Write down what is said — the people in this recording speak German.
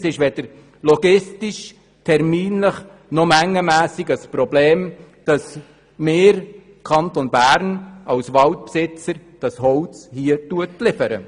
Es ist weder terminlich, noch logistisch, noch mengenmässig ein Problem, dass wir als Kanton Bern das Holz liefern.